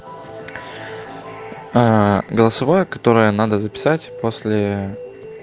голосовое которое надо записать после